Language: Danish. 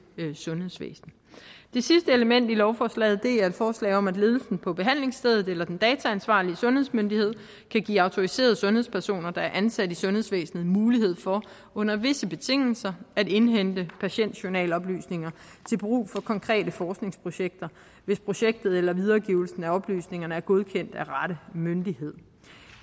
sundhedsvæsen det sidste element i lovforslaget er et forslag om at ledelsen på behandlingsstedet eller den dataansvarlige sundhedsmyndighed kan give autoriserede sundhedspersoner der er ansat i sundhedsvæsenet mulighed for under visse betingelser at indhente patientjournaloplysninger til brug for konkrete forskningsprojekter hvis projektet eller videregivelsen af oplysningerne er godkendt af rette myndighed